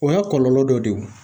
O y'a kɔlɔlɔ dɔ de ye o.